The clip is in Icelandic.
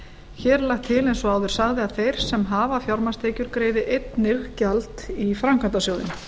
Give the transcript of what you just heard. hér er lagt til eins og áður sagði að þeir sem hafa fjármagnstekjur greiði einnig gjald í framkvæmdasjóðinn